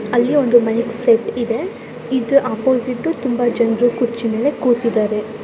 ಅಲ್ಲಿ ಒಂದು mic set ಇದೆ ಈದ್ ಒಪ್ಪೋಸಿಟ್ ತುಂಬಾ ಜನರು ಕುರ್ಚಿ ಮೇಲೆ ಕೂತಿದ್ದಾರೆ.